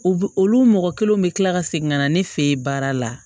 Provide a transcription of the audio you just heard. U b olu mɔgɔ kelen bɛ kila ka segin ka na ne fe yen baara la